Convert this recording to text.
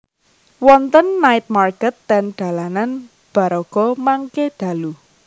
Wonten night market ten dalanan Baraga mangke dalu